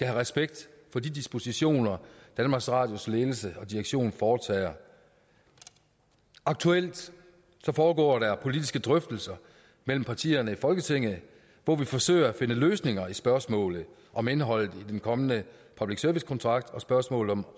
respekt for de dispositioner danmarks radios ledelse og direktion foretager aktuelt foregår der politiske drøftelser mellem partierne i folketinget hvor vi forsøger at finde løsninger på spørgsmålet om indholdet af den kommende public service kontrakt og spørgsmålet om